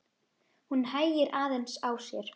Hún hægir aðeins á sér.